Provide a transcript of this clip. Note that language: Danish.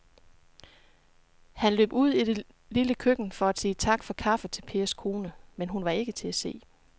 Han løb ud i det lille køkken for at sige tak for kaffe til Pers kone, men hun var ikke til at se.